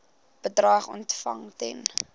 bedrag ontvang ten